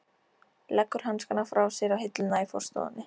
Leggur hanskana frá sér á hilluna í forstofunni.